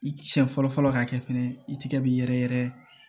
I siɲɛ fɔlɔ fɔlɔ ka kɛ fɛnɛ i tigɛ b'i yɛrɛ yɛrɛ